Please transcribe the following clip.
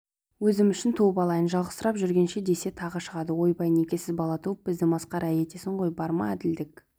өзім үшін туып алайын жалғызсырап жүргенше десе тағы шығады ойбай некесіз бала туып бізді масқара етесің ғой бар ма әділдік